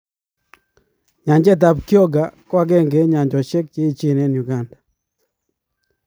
Nyanjet ab Kyoga ko akenge eng nyanjoshe che eechen eng Uganda.